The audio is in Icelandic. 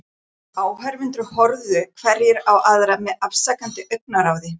Áhorfendur horfðu hverjir á aðra með afsakandi augnaráði.